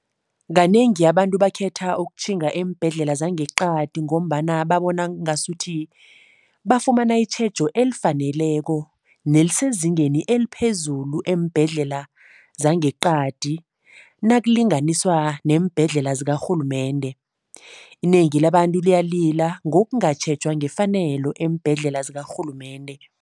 Kanengi abantu bakhetha ukutjhinga eembhedlela zangeqadi ngombana babona ngasuthi, bafumana itjhejo elifaneleko nelisezingeni eliphezulu eembhedlela zangeqadi nakulinganiswa neembhedlela zikarhulumende. Inengi labantu liyalila ngokungatjhejwa ngefanelo eembhedlela zikarhulumende.